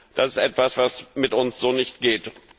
das ist etwas, was so mit uns nicht geht!